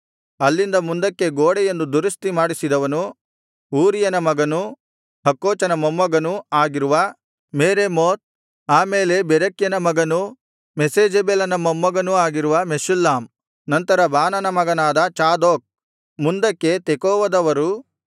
ಅಲ್ಲಿಂದ ಮುಂದಕ್ಕೆ ಗೋಡೆಯನ್ನು ದುರಸ್ತಿ ಮಾಡಿಸಿದವನು ಊರೀಯನ ಮಗನೂ ಹಕ್ಕೋಚನ ಮೊಮ್ಮಗನೂ ಆಗಿರುವ ಮೆರೇಮೋತ್ ಆ ಮೇಲೆ ಬೆರೆಕ್ಯನ ಮಗನೂ ಮೆಷೇಜಬೇಲನ ಮೊಮ್ಮಗನೂ ಆಗಿರುವ ಮೆಷುಲ್ಲಾಮ್ ನಂತರ ಬಾನನ ಮಗನಾದ ಚಾದೋಕ್ ಮುಂದಕ್ಕೆ ತೆಕೋವದವರು